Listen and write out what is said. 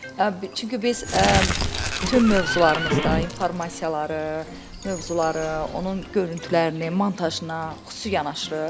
Çünki biz bütün mövzularımızda informasiyaları, mövzuları, onun görüntülərini, montajına xüsusi yanaşırıq.